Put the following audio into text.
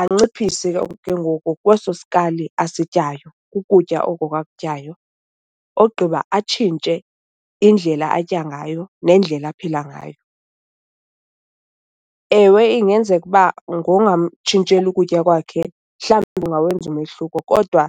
Anciphise ke ngoku kweso sikali asityayo ukutya oko ke akutyayo, ogqiba atshintshe indlela atya ngayo nendlela aphila ngayo. Ewe ingenzeka uba ngongamtshintsheli ukutya kwakhe mhlawumbi kungawenza umehluko kodwa